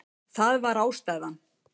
Það var ástæðan.